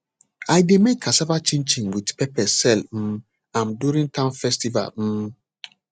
i dey make cassava chinchin with pepper sell um am during town festival um